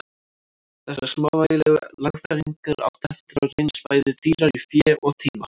Þessar smávægilegu lagfæringar áttu eftir að reynast bæði dýrar í fé og tíma.